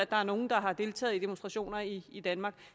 der er nogle der har deltaget i demonstrationer i i danmark